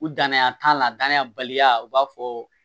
U dannaya t'a la danaya baliya u b'a fɔ